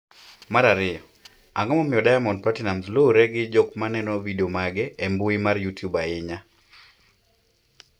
mar ariyo, Ang’o momiyo Diamond Platinumz luwre gi jok maneno vidio mage e mbui mar Youtube ahinya?